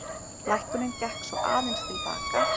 Lækkunin gekk svo aðeins til baka